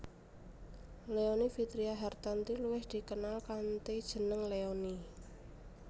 Leony Vitria Hartanti luwih dikenal kanthi jeneng Leony